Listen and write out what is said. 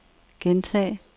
gentag